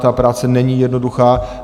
Ta práce není jednoduchá.